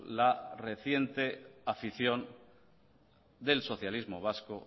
la reciente afición del socialismo vasco